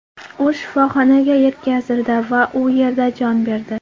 U shifoxonaga yetkazildi va u yerda jon berdi.